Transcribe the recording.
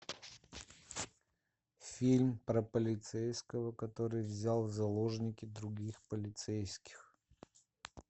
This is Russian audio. фильм про полицейского который взял в заложники других полицейских